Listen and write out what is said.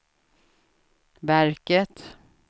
verket